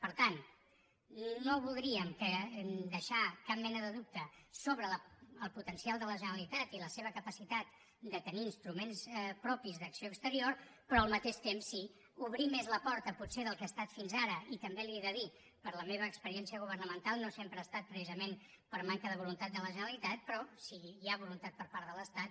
per tant no voldríem deixar cap mena de dubte sobre el potencial de la generalitat i la seva capacitat de tenir instruments propis d’acció exterior però al mateix temps sí que obrir més la porta potser del que ho ha estat fins ara i també li ho he de dir per la meva experiència governamental no sempre ha estat precisament per manca de voluntat de la generalitat però si hi ha voluntat per part de l’estat